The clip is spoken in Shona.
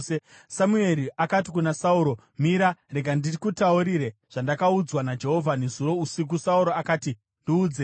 Samueri akati kuna Sauro, “Mira! Rega ndikutaurire zvandakaudzwa naJehovha nezuro usiku.” Sauro akati, “Ndiudzei.”